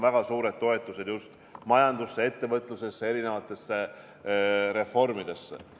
Väga suured toetused on just majandusse, ettevõtlusesse ja erinevatesse reformidesse.